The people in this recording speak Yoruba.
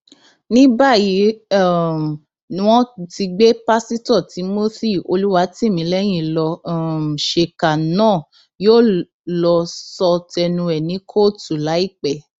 ní báyìí um ni wọn ti gbé pásítọ timothy olùwátìmílẹyìn lọ um ṣèkà náà yóò lọọ sọ tẹnu ẹ ní kóòtù láìpẹ